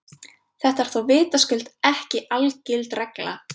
Þetta er þó vitaskuld ekki algild regla.